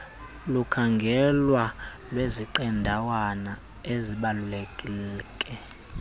lokukhangelwa lweziqendawana ezibaluleke